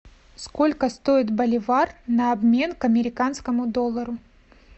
сколько стоит боливар на обмен к американскому доллару